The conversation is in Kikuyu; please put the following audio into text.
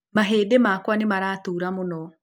Mahĩndĩ makwa nĩ maratuura mũno.